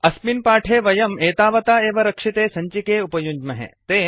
अस्मिन् पाठे वयं एतावता एव रक्षिते सञ्चिके उपयुञ्ज्महे